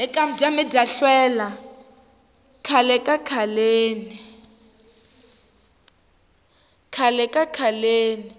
khale ka khaleni